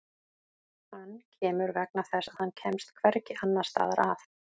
Hann kemur vegna þess að hann kemst hvergi annars staðar að.